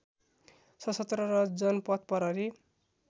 सशस्त्र र जनपथ प्रहरी